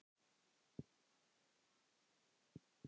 Margar kanónur þar.